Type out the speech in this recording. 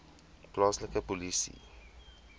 plaaslike polisie saamwerk